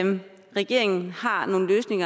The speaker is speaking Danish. regeringen har nogen løsning